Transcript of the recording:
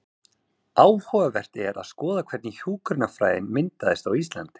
Áhugavert er að skoða hvernig hjúkrunarfræðin myndaðist á Íslandi.